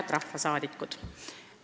Head rahvasaadikud!